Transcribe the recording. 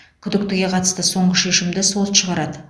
күдіктіге қатысты соңғы шешімді сот шығарады